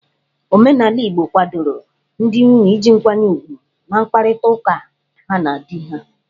Omenala igbo kwadoro ndị nwunye iji nkwanye ugwu n'mkparịta ụka ha ndị di ha.